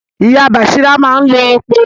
Ìyá Bàsírá máa ń lo epo